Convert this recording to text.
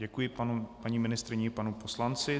Děkuji paní ministryni i panu poslanci.